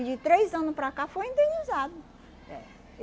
de três anos para cá foi indenizado. É